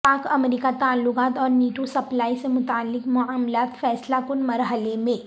پاک امریکہ تعلقات اور نیٹو سپلائی سے متعلق معاملات فیصلہ کن مرحلے میں